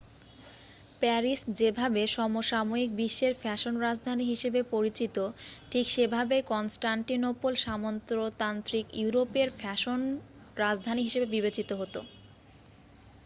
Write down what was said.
Paris যেভাবে সমসাময়িক বিশ্বের ফ্যাশন রাজধানী হিসেবে পরিচিত ঠিক সেভাবেই কনস্টান্টিনোপল সামন্ততান্ত্রিক ইউরোপের ফ্যাশন রাজধানী হিসেবে বিবেচিত হতো